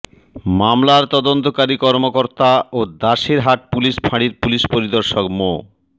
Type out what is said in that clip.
মামলার তদন্তকারী কর্মকর্তা ও দাসের হাট পুলিশ ফাঁড়ির পুলিশ পরিদর্শক মো